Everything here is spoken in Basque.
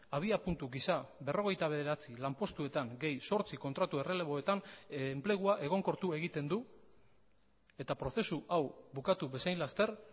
abiapuntu gisa berrogeita bederatzi lanpostuetan gehi zortzi kontratu erreleboetan enplegua egonkortu egiten du eta prozesu hau bukatu bezain laster